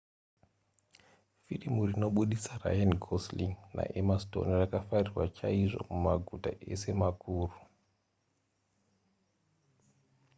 firimu rinobudisa ryan gosling naemma stone rakafarirwa chaizvo mumaguta ese makuru